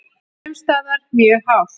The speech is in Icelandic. Sums staðar mjög hált